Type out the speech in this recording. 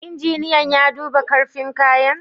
Injiniyan ya duba karfin kayan?